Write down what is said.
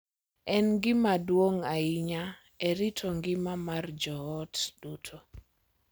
En gima duong’ ahinya e rito ngima mar joot duto.